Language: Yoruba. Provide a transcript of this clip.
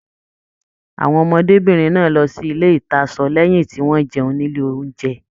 Àwọn ọmọdébinrin náà lọ sí ilé ìtasọ̀ lẹyìn tí wọn jẹun nílé ounjẹ.